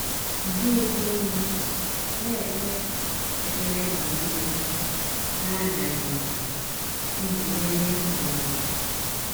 Nke itoolu: “ Na - ekpe ekpere mgbe nile, n’adaghị mbà, ” iji merie ọnwụnwa.